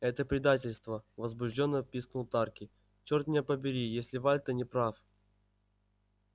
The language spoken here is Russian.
это предательство возбуждённо пискнул тарки черт меня побери если вальто не прав